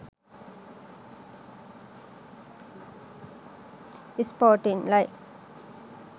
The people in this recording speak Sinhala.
sporting life